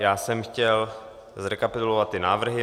Já jsem chtěl zrekapitulovat ty návrhy.